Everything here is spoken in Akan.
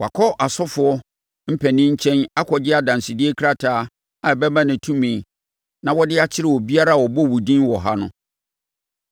Wakɔ asɔfoɔ mpanin nkyɛn akɔgye adansedie krataa a ɛbɛma no tumi na ɔde akyere obiara a ɔbɔ wo din wɔ ha no.”